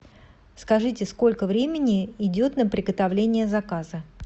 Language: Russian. скажите сколько времени идет на приготовление заказа